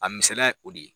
A misaliya ye o de ye